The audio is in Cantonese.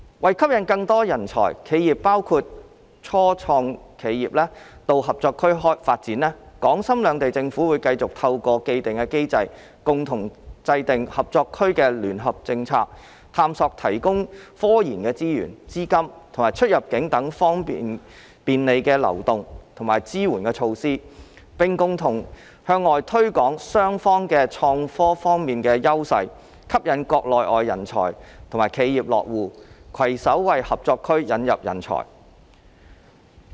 為吸引更多人才、企業到合作區發展，港深兩地政府會繼續透過既定機制，共同制訂合作區的聯合政策，探索提供科研資源、資金及出入境等方面的便利流動及支援措施，並共同向外推廣雙方在創科方面的優勢，吸引國內外人才和企業落戶，攜手為合作區引入人才。